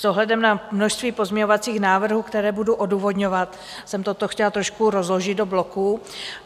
S ohledem na množství pozměňovacích návrhů, které budu odůvodňovat, jsem toto chtěla trošku rozložit do bloků.